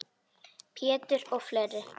Pétur og fleiri.